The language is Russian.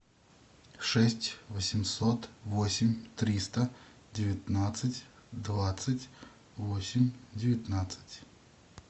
шесть восемьсот восемь триста девятнадцать двадцать восемь девятнадцать